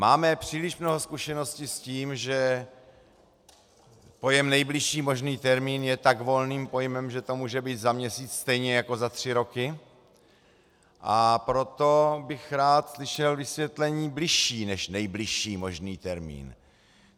Máme příliš mnoho zkušeností s tím, že pojem nejbližší možný termín je tak volným pojmem, že to může být za měsíc stejně jako za tři roky, a proto bych rád slyšel vysvětlení bližší než nejbližší možný termín.